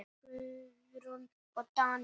Guðrún og Daníel.